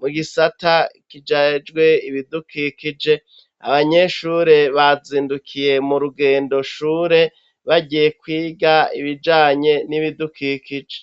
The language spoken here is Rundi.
,mugisata kijejwe ibidukikije ,abanyeshure bazindukiye murugendo shure bagiye kwiga ibijanye nibidukikije